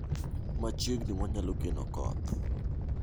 Machiegni wanyalo geno koth